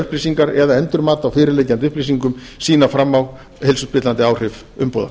upplýsingar eða endurmat á fyrirliggjandi upplýsingum sýna fram á heilsuspillandi áhrif umbúða